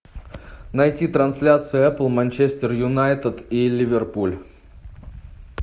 найти трансляцию апл манчестер юнайтед и ливерпуль